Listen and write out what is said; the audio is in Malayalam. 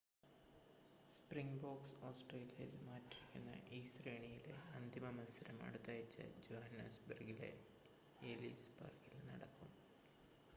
സ്പ്രിംഗ്ബോക്സ് ഓസ്ട്രേലിയയിൽ മാറ്റുരയ്ക്കുന്ന ഈ ശ്രേണിയിലെ അന്തിമ മത്സരം അടുത്താഴ്ച ജോഹന്നസ്ബെർഗിലെ എലിസ് പാർക്കിൽ നടക്കും